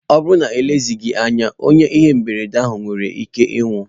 Ọ bụrụ na elezighi anya, onye ihe mberede ahụ mere nwere ike ịnwụ.